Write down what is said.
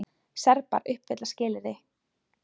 Serbar uppfylla skilyrði